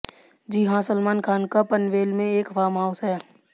जी हाँ सलमान खान का पनवेल में एक फार्म हाउस है